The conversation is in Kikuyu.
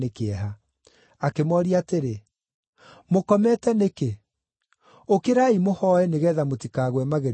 Akĩmooria atĩrĩ, “Mũkomete nĩkĩ? Ũkĩrai mũhooe nĩgeetha mũtikagwe magerio-inĩ.”